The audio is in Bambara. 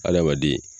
Adamaden